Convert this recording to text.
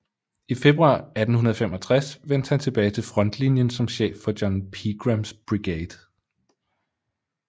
I februar 1865 vendte han tilbage til frontlinien som chef for John Pegrams Brigade